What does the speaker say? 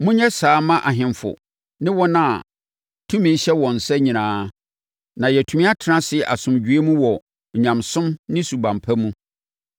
monyɛ saa ara mma ahemfo ne wɔn a tumi hyɛ wɔn nsa nyinaa na yɛatumi atena ase asomdwoeɛ mu wɔ onyamesom ne suban pa mu.